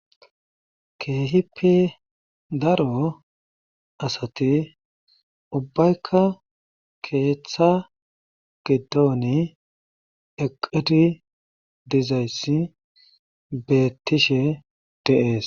Keehippe daro asati ubbaykka keeththa gidoni eqqizi dizayssi beetishe dee'ees.